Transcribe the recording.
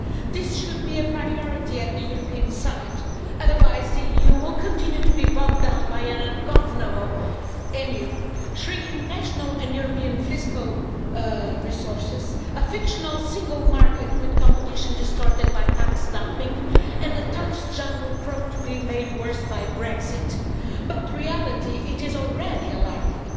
This should be a priority at the European summit, otherwise, the EU will continue to be bogged down by an ungovernable European monetary union, shrinking national and European fiscal resources, a fictional single market with competition distorted by tax dumping, and the tax jungle prone to be made worse by Brexit. The reality, however, is already alarming.